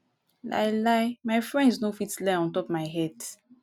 lie lie my friends no fit lie ontop my head.